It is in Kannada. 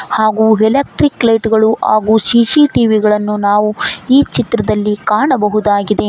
ಹಾಗೂ ಎಲೆಕ್ಟ್ರಿಕ್ ಲೈಟ್ ಗಳು ಹಾಗೂ ಸಿ_ಸಿ_ಟಿ_ವಿ ಗಳನ್ನು ನಾವು ಈ ಚಿತ್ರದಲ್ಲಿ ಕಾಣಬಹುದಾಗಿದೆ.